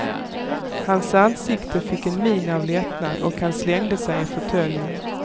Hans ansikte fick en min av lättnad, och han slängde sig i fåtöljen.